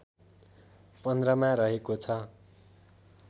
१५ मा रहेको छ